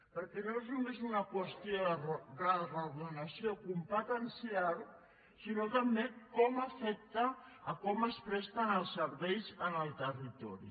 perquè no és només una qüestió de reordenació competencial sinó també de com afecta com es presten els serveis en el territori